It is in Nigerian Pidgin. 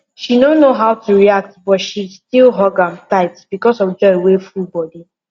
she no know how to react but she still hug am tight because of joy wey full body